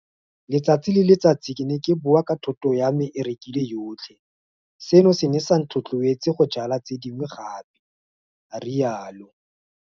Letsatsi le letsatsi ke ne ke boa ka thoto ya me e rekilwe yotlhe. Seno se ne sa nthotloetsa go jala tse dingwe gape.a rialo.